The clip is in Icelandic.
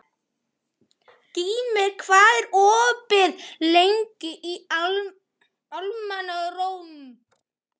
Gýmir, hvað er opið lengi í Almannaróm?